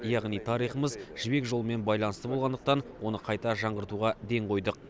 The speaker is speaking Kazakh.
яғни тарихымыз жібек жолымен байланысты болғандықтан оны қайта жаңғыртуға ден қойдық